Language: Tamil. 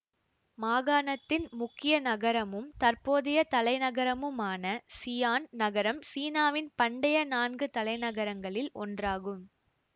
மாகாணத்தின் முக்கிய நகரமும் தற்போதைய தலைநகரமுமான சிய்யான் நகரம் சீனாவின் பண்டைய நான்கு தலைநகரங்களில் ஒன்றாகும்